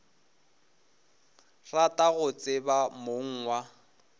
rata go tseba mong wa